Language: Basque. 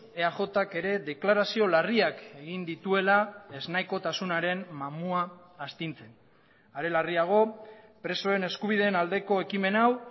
eajk ere deklarazio larriak egin dituela ez nahikotasunaren mamua astintzen are larriago presoen eskubideen aldeko ekimen hau